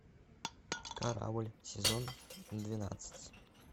корабль сезон двенадцать